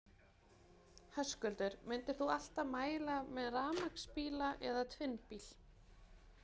Höskuldur: Myndir þú alltaf mæla með rafmagnsbíla eða tvinnbíl?